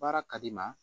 Baara ka di n ma